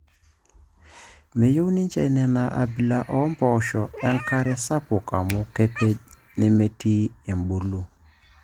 Meyieu ninche Nena abila empooshoi enkare sapuk amuu kepej nemitiki ebulu.